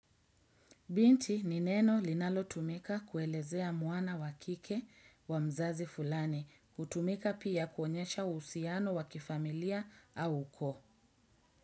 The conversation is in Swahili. Binti nineno linalo tumika kuelezea muana wakike wa mzazi fulani kutumika pia kuonyesha usiano wakifamilia au ko.